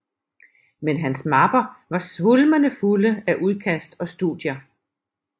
Men hans mapper var svulmende fulde af udkast og studier